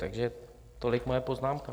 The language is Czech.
Takže tolik moje poznámka.